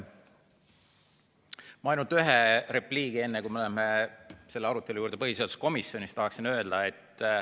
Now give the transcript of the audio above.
Ma tahaksin öelda ainult ühe repliigi, enne kui läheme selle arutelu juurde, mis põhiseaduskomisjonis toimus.